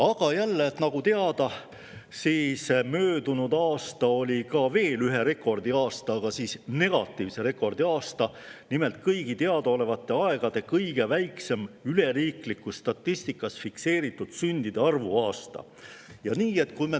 Aga jälle, nagu teada, möödunud aasta oli veel ühe rekordi aasta, negatiivse rekordi aasta: nimelt, riikliku statistika kõige väiksema fikseeritud sündide arvuga aasta.